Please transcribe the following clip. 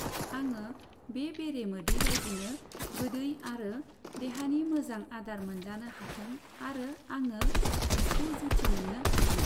आङो बे बेरे मोदै बायदिनो गोदै आरो देहानि मोजां आदार मोनजानो हाथों आरो आङो बिखौ जुथि मोननो हाथों।